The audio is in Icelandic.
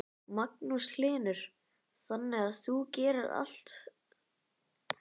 Magnús Hlynur: Þannig að þú gerir allt fyrir malbikið?